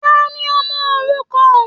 Tani ọmọ òrukàn?